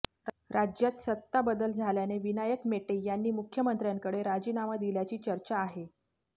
राज्यात सत्ताबदल झाल्याने विनायक मेटे यांनी मुख्यमंत्र्यांकडे राजीनामा दिल्याची चर्चा आहे